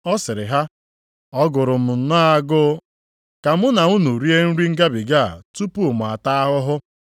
Ọ sịrị ha, “Ọ gụrụ m nnọọ agụụ ka mụ na unu rie nri Ngabiga a tupu mụ ataa ahụhụ.